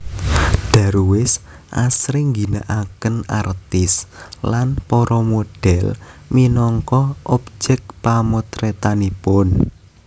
Darwis asring ngginakaken artis lan para model minangka objek pamotretanipun